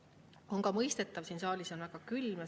See on ka mõistetav, sest siin saalis on väga külm.